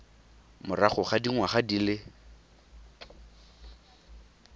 morago ga dingwaga di le